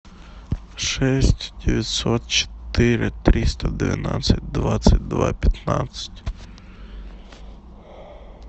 шесть девятьсот четыре триста двенадцать двадцать два пятнадцать